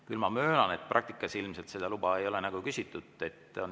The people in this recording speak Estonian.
Küll aga möönan, et praktikas ilmselt seda luba ei ole küsitud.